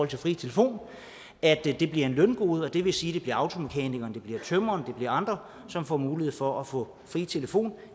til fri telefon at det bliver et løngode det vil sige bliver automekanikeren det bliver tømreren det bliver andre som får mulighed for at få fri telefon